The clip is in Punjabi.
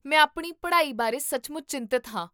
ਮੈਂ ਆਪਣੀ ਪੜ੍ਹਾਈ ਬਾਰੇ ਸੱਚਮੁੱਚ ਚਿੰਤਤ ਹਾਂ